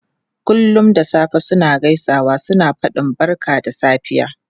Kullum da safe suna gaisawa suna fadin barka da safiya.